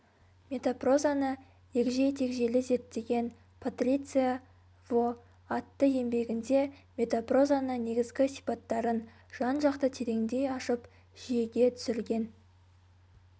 метапрозаны егжей-тегжейлі зерттеген патриция во атты еңбегінде метапрозаны негізгі сипаттарын жан-жақты тереңдей ашып жүйеге түсірген